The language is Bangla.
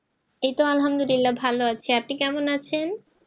এইতো আলহামদুলিল্লাহ ভালো আছি আপনি কেমন আছেন